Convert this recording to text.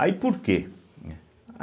Aí por quê? né